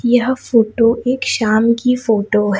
यह फोटो एक शाम की फोटो है।